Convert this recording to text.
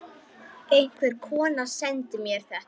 Einhver kona sendi mér þetta.